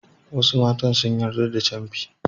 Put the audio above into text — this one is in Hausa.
Wasu matan sun yarda da camfi.